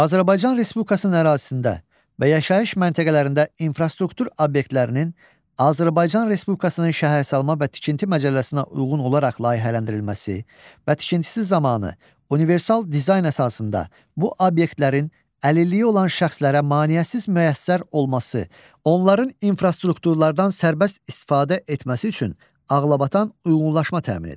Azərbaycan Respublikasının ərazisində və yaşayış məntəqələrində infrastruktur obyektlərinin Azərbaycan Respublikasının şəhərsalma və Tikinti Məcəlləsinə uyğun olaraq layihələndirilməsi və tikintisi zamanı universal dizayn əsasında bu obyektlərin əlilliyi olan şəxslərə maneəsiz müyəssər olması, onların infrastrukturlardan sərbəst istifadə etməsi üçün ağlabatan uyğunlaşma təmin edir.